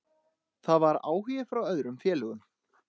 Það var áhugi frá öðrum félögum.